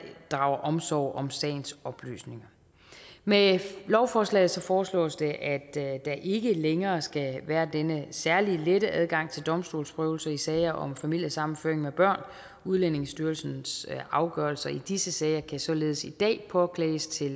drager omsorg om sagens oplysninger med lovforslaget foreslås det at der ikke længere skal være denne særligt lette adgang til domstolsprøvelse i sager om familiesammenføring med børn udlændingestyrelsens afgørelser i disse sager kan således i dag påklages til